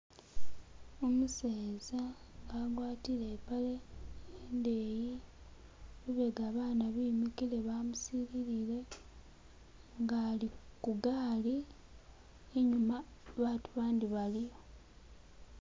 umuseza nga agwatile ipale indeyi lubega bana bemikile bamusilile ngali kugali inyuma batu bandi baliyo